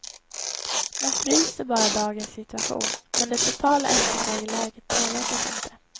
Man fryser bara dagens situation, men det totala efterfrågeläget påverkas inte.